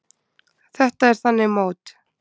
Þetta er þannig mót.